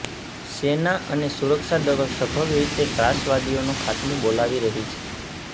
સેના અને સુરક્ષા દળો સફળરીતે ત્રાસવાદીઓનો ખાત્મો બોલવી રહી છે